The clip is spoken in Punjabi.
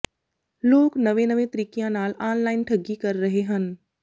ਲੋਕ ਨਵੇਂ ਨਵੇਂ ਤਰੀਕਿਆਂ ਨਾਲ ਆਨਲਾਈਨ ਠੱਗੀ ਕਰ ਰਹੇ ਹਨ